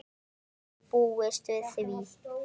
Hver hefði búist við því?